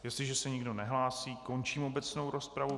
Jestliže se nikdo nehlásí, končím obecnou rozpravu.